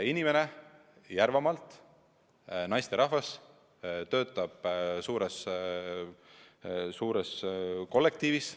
Inimene Järvamaalt, naisterahvas, töötab suures suures kollektiivis.